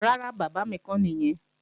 Rárá, bàbá mi kọ́ nìyẹn